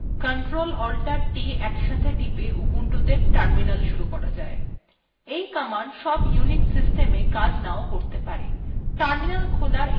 এই command সব unix systemsa কাজ নাও করতে পারে terminal খোলার একটি সাধারণ পদ্ধতি অন্য একটি কথ্য tutoriala ব্যাখ্যা করা আছে